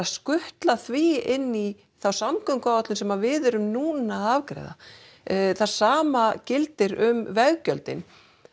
skutla því inn í þá samgönguáætlun sem við erum núna að afgreiða það sama gildir um veggjöldin